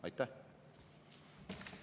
Aitäh!